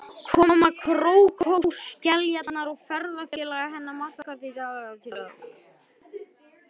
Koma krókskeljarinnar og ferðafélaga hennar markar því tvenn tímamót.